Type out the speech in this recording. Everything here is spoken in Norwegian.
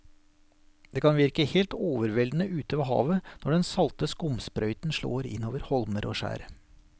Det kan virke helt overveldende ute ved havet når den salte skumsprøyten slår innover holmer og skjær.